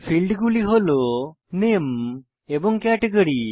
ফীল্ডগুলি হল নামে এবং ক্যাটেগরি